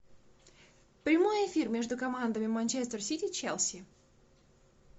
прямой эфир между командами манчестер сити челси